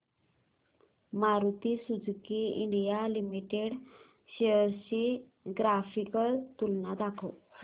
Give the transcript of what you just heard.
Maruti Suzuki India limited shares ची graphical तुलना दाखव